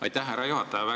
Aitäh, härra juhataja!